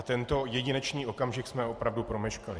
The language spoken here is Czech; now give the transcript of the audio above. A tento jedinečný okamžik jsme opravdu promeškali.